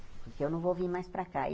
Porque eu não vou vir mais para cá e.